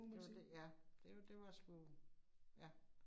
Det var det. Ja, det var det var sgu. Ja